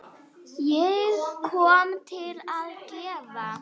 Ég kom til að gefa.